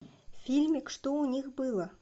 фильмик что у них было